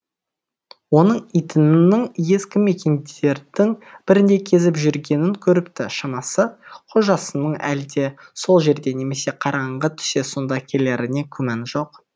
оның итінің ескі мекендердің бірінде кезіп жүргенін көріпті шамасы қожасының әлде сол жерде немесе қараңғы түсе сонда келеріне күмән жоқ